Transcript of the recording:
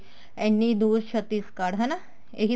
ਇੰਨੀ ਦੁਰ ਛੱਤੀਸਗੜ੍ਹ ਹਨਾ ਇਹੀ